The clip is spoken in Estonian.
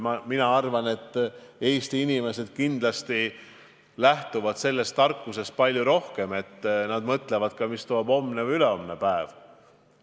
Mina arvan, et Eesti inimesed kindlasti lähtuvad palju rohkem sellest tarkusest, et nad mõtlevad ka, mida toob homne või ülehomne päev.